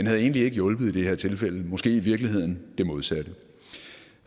havde hjulpet i det her tilfælde måske i virkeligheden det modsatte